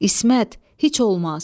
İsmət, heç olmaz.